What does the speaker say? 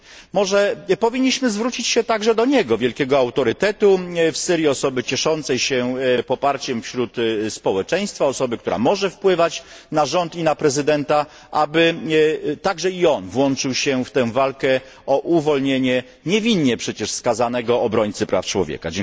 Może powinniśmy zwrócić się do niego, wielkiego autorytetu w Syrii, osoby cieszącej się poparciem wśród społeczeństwa, która może wpływać na rząd i na prezydenta, aby także i on włączył się w walkę o uwolnienie niewinnie przecież skazanego obrońcy praw człowieka.